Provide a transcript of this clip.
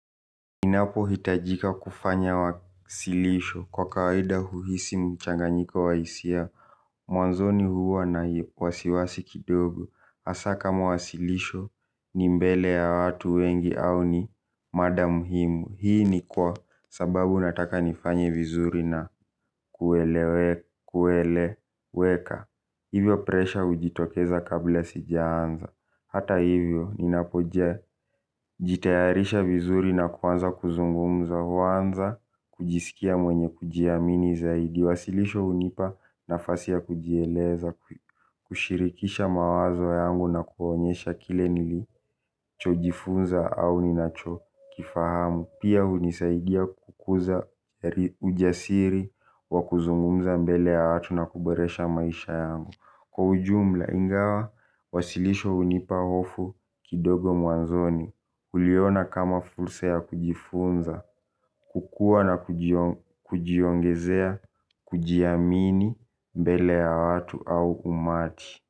Ninapohitajika kufanya wasilisho kwa kawada uhisi mchanganyiko wa hisia. Mwanzoni huwa na wasiwasi kidogo. Asa kama wasilisho ni mbele ya watu wengi au ni mada muhimu. Hii ni kwa sababu nataka nifanye vizuri na kuelewe kueleweka. Hivyo presha ujitokeza kabla sijaanza. Hata hivyo, ninakoja jitayarisha vizuri na kuanza kuzungumza, huanza kujisikia mwenye kujiamini zaidi. Wasilisho hunipa nafasi ya kujieleza, kushirikisha mawazo yangu na kuonyesha kile nilichojifunza au ninachokifahamu. Pia hunisaidia kukuza ujasiri wa kuzungumza mbele ya watu na kuboresha maisha yangu. Kwa ujumula ingawa, wasilisho hunipa hofu kidogo mwanzoni huliona kama fursa ya kujifunza, kukua na kujiongezea, kujiamini, mbele ya watu au umati.